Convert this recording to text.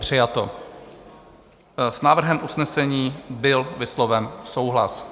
Přijato, s návrhem usnesení byl vysloven souhlas.